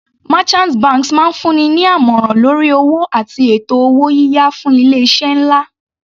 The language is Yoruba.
Merchant banks máa ń fún ni ní àmọ̀ràn lórí owó àti ètò owó yíyá fún ilé iṣẹ́ nlá.